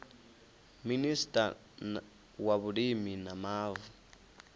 minista wa vhulimi na mavu